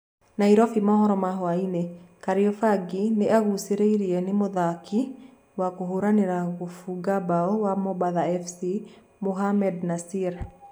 (Nairobĩ maũhoro ma hwainĩ) Kariobangi nĩ agucĩrĩrie nĩ mũthaki wa kũhũranĩra gũbũnga mbao wa Mombatha fc,Mohamed Nassir.